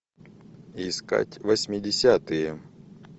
искать восьмидесятые